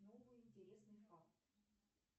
новый интересный факт